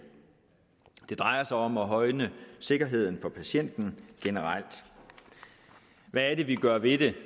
det drejer sig om at højne sikkerheden for patienten generelt hvad er det vi gør ved det